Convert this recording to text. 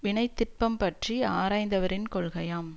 வினைத்திட்பம் பற்றி ஆராய்ந்தவரின் கொள்கையாம்